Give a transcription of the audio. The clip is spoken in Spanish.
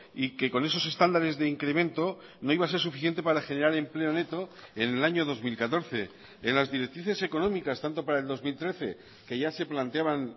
y que con esos estándares de incremento no iba a ser suficiente para generar empleo neto en el año dos mil catorce en las directrices económicas tanto para el dos mil trece que ya se planteaban